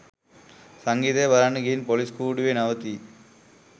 සංගීතය බලන්න ගිහින් පොලිස් කූඩුවේ නවතී